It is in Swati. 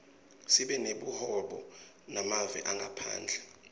sibe nebuhobo nemave angephandle